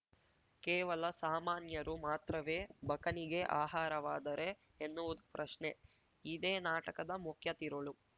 ಕೇವಲ ಸಾಮಾನ್ಯರು ಮಾತ್ರವೇ ಬಕನಿಗೆ ಆಹಾರವಾದರೆ ಎನ್ನುವುದು ಪ್ರಶ್ನೆ ಇದೇ ನಾಟಕದ ಮುಖ್ಯ ತಿರುಳು